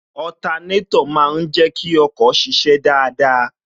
Otanétò má ń jẹ kí ọkọ̀ ṣiṣẹ́ dáadáa